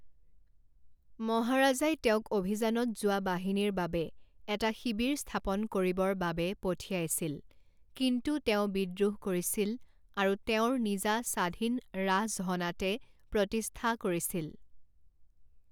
মহাৰাজাই তেওঁক অভিযানত যোৱা বাহিনীৰ বাবে এটা শিবিৰ স্থাপন কৰিবৰ বাবে পঠিয়াইছিল, কিন্তু তেওঁ বিদ্ৰোহ কৰিছিল আৰু তেওঁৰ নিজা স্বাধীন ৰাজহনাটে প্ৰতিষ্ঠা কৰিছিল।